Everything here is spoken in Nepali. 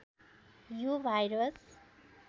यो भाइरस